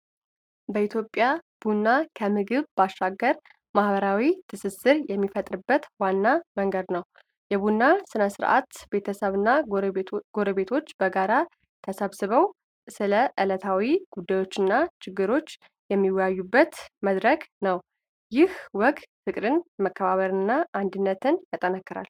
በኢትዮጵያ ቡና ከምግብ ባሻገር ማኅበራዊ ትስስር የሚፈጠርበት ዋና መንገድ ነው። የቡና ሥነ ሥርዓት ቤተሰብና ጎረቤቶች በጋራ ተሰብስበው፣ ስለ ዕለታዊ ጉዳዮችና ችግሮች የሚወያዩበት መድረክ ነው። ይህ ወግ ፍቅርን፣ መከባበርንና አንድነትን ያጠናክራል።